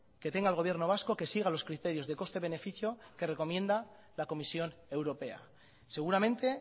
que tenga el gobierno vasco que siga los criterios de coste beneficio que recomienda la comisión europea seguramente